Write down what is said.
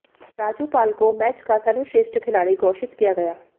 राजू पाल को मैच का सर्वश्रेष्ठ खिलाड़ी घोषित किया गया